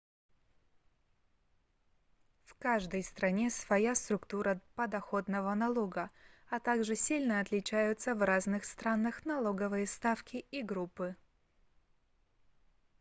в каждой стране своя структура подоходного налога а также сильно отличаются в разных странах налоговые ставки и группы